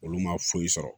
Olu ma foyi sɔrɔ